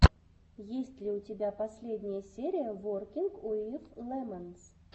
есть ли у тебя последняя серия воркинг уив лемонс